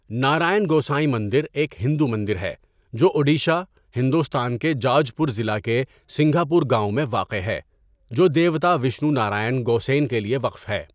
نارائن گوسین مندر ایک ہندو مندر ہے جو اڈیشہ، ہندوستان کے جاج پور ضلع کے سنگھا پور گاؤں میں واقع ہے جو دیوتا وشنو نارائن گوسین کے لیے وقف ہے.